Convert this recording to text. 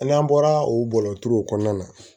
N'an bɔra o bɔlɔntigɛw kɔnɔna na